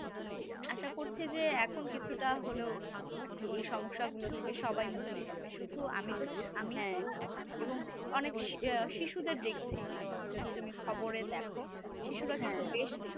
আশা করছি যে এখন কিছুটা হলেও এই সমস্যা গুলো থেকে সবাই মুক্তি পাবে শুধু আমি তো আমি তো না এবং অনেক শিশুদের দেখছি আহ যদি তুমি খবরে দেখো শিশুরা কিন্তু বেশ